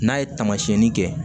N'a ye taamasiyɛnni kɛ